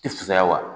Tɛ fusaya wa